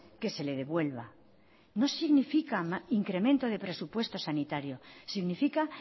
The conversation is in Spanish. que se le devuelva no significa incremento de presupuesto sanitario significa